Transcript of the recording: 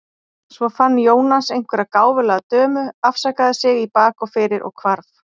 Svo fann Jónas einhverja gáfulega dömu, afsakaði sig í bak og fyrir og hvarf.